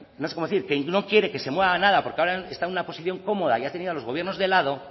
no sé cómo decir que no quiere que se mueva nada porque ahora está en una posición cómoda y ha tenido a los gobiernos de lado